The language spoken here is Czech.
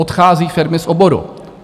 Odchází firmy z oboru.